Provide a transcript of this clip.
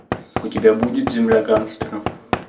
у тебя будет земля гангстеров